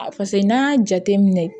A pase n'an y'a jateminɛ